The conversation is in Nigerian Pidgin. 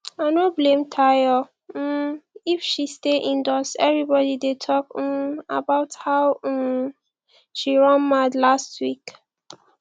i no blame tayo um if she wan stay indoors everybody dey talk um about how um she run mad last week